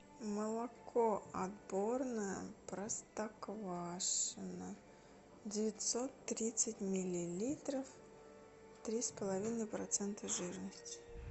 молоко отборное простоквашино девятьсот тридцать миллилитров три с половиной процента жирности